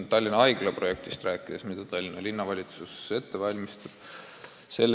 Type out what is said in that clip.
Tallinna uue haigla projekti valmistab ette Tallinna Linnavalitsus.